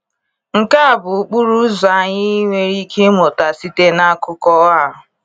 Nke a bụ ụkpụrụ ọzọ anyị nwere ike ịmụta site n’akụkọ a.